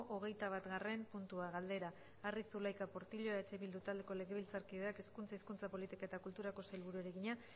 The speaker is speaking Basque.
hogeitabatgarren puntua galdera arri zulaika portillo eh bildu taldeko legebiltzarkideak hezkuntza hizkuntza politika eta kulturako sailburuari egina